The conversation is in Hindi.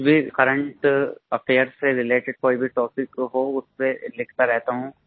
कुछ भी करेंट अफेयर्स से रिलेटेड कोई भी टॉपिक हो उस पर लिखता रहता हूँ